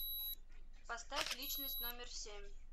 поставь личность номер семь